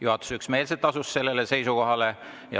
Juhatus asus üksmeelselt sellele seisukohale.